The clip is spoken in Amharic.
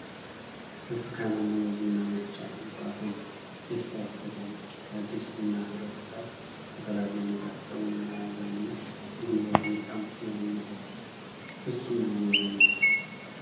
ብርቱካናማው የቡና መፍጫ የጧትን ደስታ ያስተጋባል። ከአዲስ ቡና ፍሬዎች ጋር ተቀላቅሎ የሚጣፍጠውን መዓዛና ጉልበት እንዲቀምሱ ያነሳሳል። ፍጹም የሆነ የቡና ልምድ!